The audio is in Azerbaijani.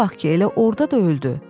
İşə bax ki, elə orda da öldü.